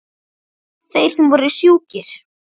Þeir sem voru sjúkir.